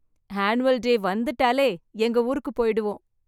Annual day வந்துட்டாலே எங்க ஊருக்கு போயிடுவோம்.